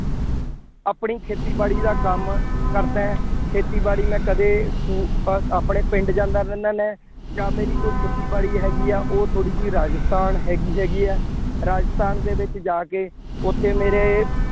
ਆਪਣੀ ਖੇਤੀਬਾੜੀ ਦਾ ਕੰਮ ਕਰਦਾ ਹਾਂ। ਖੇਤੀਬਾੜੀ ਮੈਂ ਕਦੇ ਸਕੂ ਅਹ ਆਪਣੇ ਪਿੰਡ ਜਾਂਦਾ ਰਹਿੰਦਾ ਮੈਂ, ਜਾਂ ਮੇਰੀ ਕੋਈ ਖੇਤੀਬਾੜੀ ਹੈਗੀ ਹੈ ਉਹ ਥੋੜ੍ਹੀ ਜਿਹੀ ਰਾਜਸਥਾਨ ਹੈਗੀ ਹੈਗੀ ਹੈ। ਰਾਜਸਥਾਨ ਦੇ ਵਿੱਚ ਜਾ ਕੇ ਉੱਥੇ ਮੇਰੇ